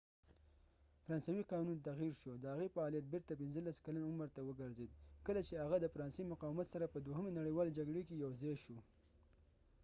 فرانسوي قانون تغیر شو د هغې فعالیت بیرته 15 کلن عمر ته وګرځید کله چې هغه د فرانسې مقاومت سره په دوهمې نړیوالې جګړې کې یوځاې شو